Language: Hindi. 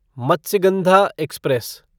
मत्स्यगंधा एक्सप्रेस